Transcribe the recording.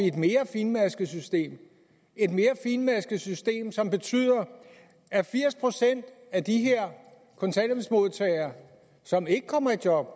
et mere finmasket system et mere finmasket system som betyder at firs procent af de her kontanthjælpsmodtagere som ikke kommer i job